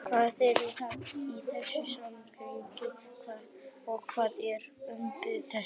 Hvað þýðir það í þessu samhengi og hver er uppruni þess?